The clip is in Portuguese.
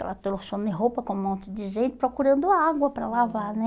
Aquela trochão de roupa com um monte de gente, procurando água para lavar, né?